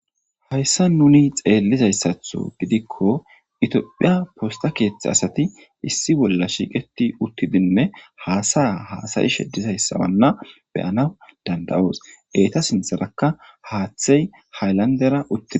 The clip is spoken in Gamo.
hayssa nuni xeellizayssatho gidikko itiophiya posta keeththe asati issi bolla shiiqeti uttidinne haasaya haasayi sheddizayssawanna beyana danda7oos eeta sintherakka haaththey haylandera utidi